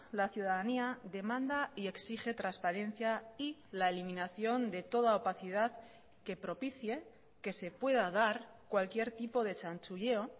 la ciudadanía demanda y exige transparencia y la eliminación de toda opacidad que propicie que se pueda dar cualquier tipo de chanchulleo